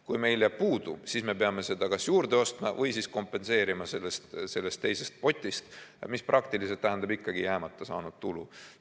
Kui meil jääb puudu, siis me peame seda kas juurde ostma või kompenseerima sellest teisest potist, mis praktiliselt tähendab ikkagi saamata jäänud tulu.